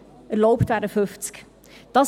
erlaubt wären 50.